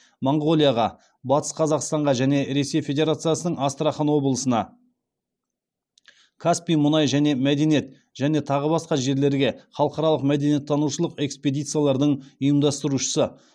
монғолияға батыс қазақстанға және ресей федерациясының астрахан облысына каспий мұнай және мәдениет және тағы басқа жерлерге халықаралық мәдениеттанушылық экспедициялардың ұйымдастырушысы